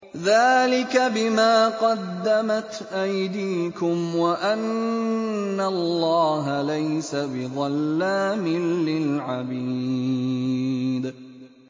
ذَٰلِكَ بِمَا قَدَّمَتْ أَيْدِيكُمْ وَأَنَّ اللَّهَ لَيْسَ بِظَلَّامٍ لِّلْعَبِيدِ